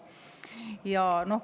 Teie aeg!